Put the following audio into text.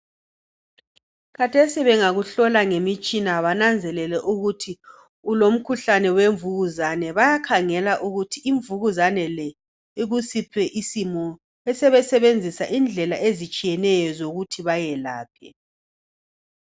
Khathesi bengakuhlola ngemitshina bananzelele ukuthi ulomkhuhlane wemvukuzane, bayakhangela ukuthi imvukuzane le ikusiphi isimo besebesebenzisa indlela ezitshiyeneyo zokuthi bayelaphe.